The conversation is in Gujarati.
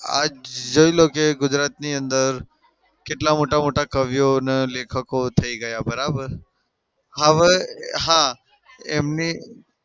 આજ જોઈ લો કે ગુજરાતની અંદર કેટલા મોટા-મોટા કવિઓ ને લેખકો થઇ ગયા બરાબર? હા ભઈ હા એમની